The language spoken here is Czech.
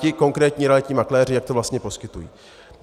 ti konkrétní realitní makléři, jak to vlastně poskytují.